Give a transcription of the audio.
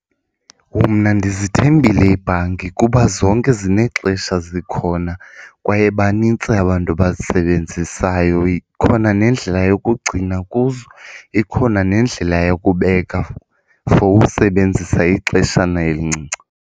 Mna ndizithembile iibhanki kuba zonke zinexesha zikhona kwaye banintsi abantu abazisebenzisayo. Ikhona nendlela yokugcina kuzo ikhona nendlela yokubeka for usebenzisa ixeshana elincinci.